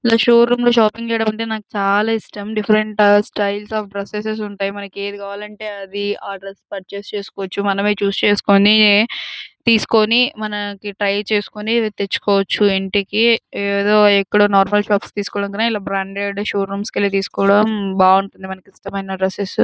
Show room లో shopping చెయ్యటం అంటే నాకు చాల ఇష్టం. డిఫరెంట్ టైప్స్ అఫ్ డ్రెసేస్ ఉంటాయి. మనకు ఏది కావాలంటే అది ఆ డ్రెస్ పూర్చస్ చేస్కోవచ్చు. మనమే చూసెక్స్కోని టెస్కొని మన కి ట్రై చేసుకొని తెచ్చుకోవచ్చు. ఇంటికి ఏదో ఏదో నార్మల్ షాప్ లో తీసుకునే కన్నా ఇట్లా బ్రాండెడ్ సషోరూమ్ కి ఇల్లి తెస్కోదం బాగుంటుంది. మనకి ఇష్టమైన డ్రెస్సెస్ --